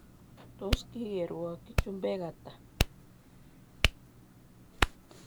Tos kikerwakyi chumbek ata?